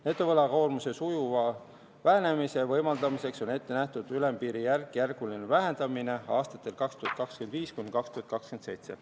Netovõlakoormuse sujuva vähenemise võimaldamiseks on ette nähtud ülempiiri järkjärguline vähendamine aastatel 2025–2027.